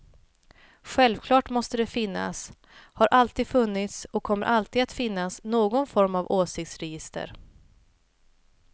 Självklart måste det finnas, har alltid funnits och kommer alltid att finnas någon form av åsiktsregister.